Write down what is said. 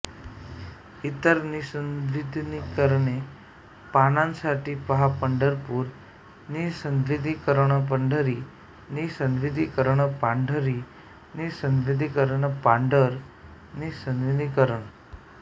इतर निःसंदिग्धीकरण पानांसाठी पहा पंढरपूर निःसंदिग्धीकरणपंढरी निःसंदिग्धीकरणपांढरी निःसंदिग्धीकरणपांढर निःसंदिग्धीकरण